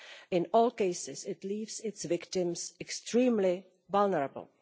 In all cases, it leaves its victims extremely vulnerable.